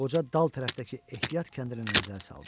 Qoca dal tərəfdəki ehtiyat kəndirinə nəzər saldı.